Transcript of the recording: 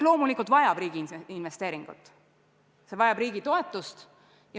Loomulikult vajab see riigi investeeringuid, see vajab riigi toetust.